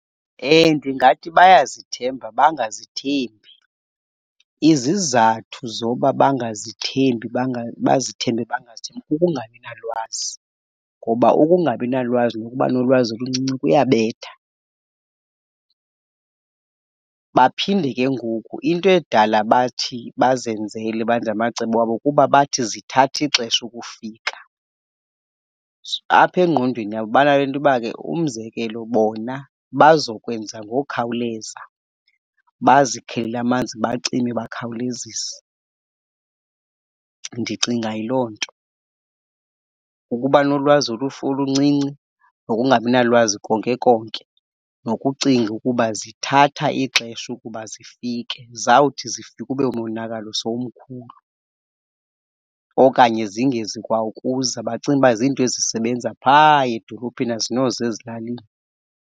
Ndingathi bayazithemba bangazithembi. Izizathu zoba bangazithembi bazithembe, bangazithembi kukungabi nalwazi ngoba ukungabi nalwazi nokuba nolwazi oluncinci kuyabetha. Baphinde ke ngoku into edala bathi bazenzele, benze amacebo wabo kuba bathi zithatha ixesha ukufika. Apha engqondweni yabo banale nto uba ke, umzekelo, bona bazokwenza ngokhawuleza, bazikhelele amanzi bacime bakhawulezise. Ndicinga yiloo nto, ukuba nolwazi olufu oluncinci, nokungabi nalwazi konke konke nokucinga ukuba zithatha ixesha ukuba zifike. Zawuthi zifika ube umonakalo sowumkhulu okanye zingezi kwa ukuza. Bacinga uba zinto ezisebenza phaa edolophini, azinoza ezilalini.